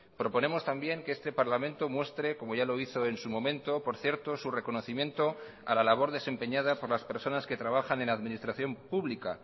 proponemos también que este parlamento muestre como ya lo hizo en su momento por cierto su reconocimiento a la labor desempeñada por las personas que trabajan en administración pública